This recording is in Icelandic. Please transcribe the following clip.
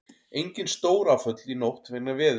Engin stóráföll í nótt vegna veðurs